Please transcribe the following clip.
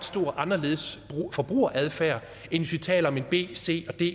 anderledes forbrugeradfærd end hvis vi taler om b c eller d